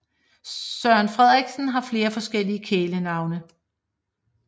Søren Frederiksen har flere forskellige kælenavne